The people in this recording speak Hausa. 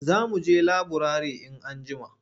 Za mu je laburare in anjima.